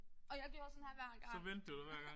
Og jeg gjorde sådan her hver gang